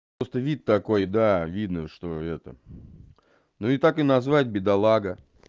просто вид такой да видно что это ну и так и назвать бедолага